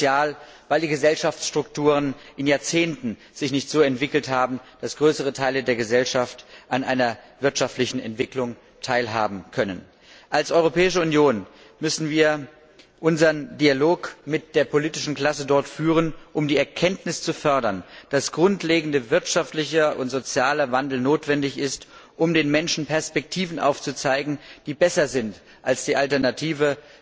Sozial fragil, weil sich die Gesellschaftsstrukturen in Jahrzehnten nicht so entwickelt haben, dass größere Teile der Gesellschaft an einer wirtschaftlichen Entwicklung teilhaben können. Als Europäische Union müssen wir unseren Dialog mit der politischen Klasse dort führen, um die Erkenntnis zu fördern, dass grundlegender wirtschaftlicher und sozialer Wandel notwendig ist, um den Menschen Perspektiven aufzuzeigen, die besser sind als die Alternative,